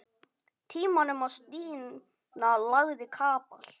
Tímanum og Stína lagði kapal.